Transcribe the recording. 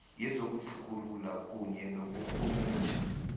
yezokutjhugulula kunye nokurhumutjha